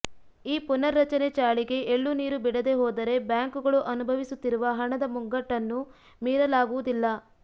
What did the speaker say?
ಈ ಪುನರ್ರಚನೆ ಚಾಳಿಗೆ ಎಳ್ಳುನೀರು ಬಿಡದೆಹೋದರೆ ಬ್ಯಾಂಕ್ಗಳು ಅನುಭವಿಸುತ್ತಿರುವ ಹಣದ ಮುಗ್ಗಟ್ಟನ್ನು ಮೀರಲಾಗುವುದಿಲ್ಲ